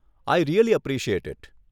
I really appreciate it.